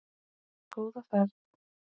Góða ferð!